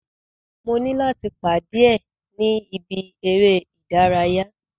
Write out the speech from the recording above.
Mo ní láti pàdé ẹ̀ ni ibi eré ìdárayá.